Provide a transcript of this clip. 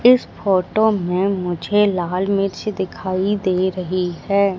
इस फोटो में मुझे लाल मिर्च दिखाई दे रही है।